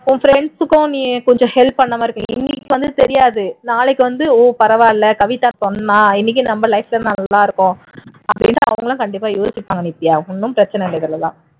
உன் friends க்கும் கொஞ்சம் help பண்ணுன மாதிரி இருக்கும் இன்னைக்கு வந்து தெரியாது நாளைக்கு வந்து ஓ பரவாயில்லை கவிதா சொன்னா இன்னைக்கு நம்ம life ல நல்லா இருக்கோம் அப்படின்னு அவங்களா கண்டிப்பா யோசிப்பாங்க நித்யா ஒண்ணும் பிரச்சினை இல்லை இதயத்துல எல்லாம்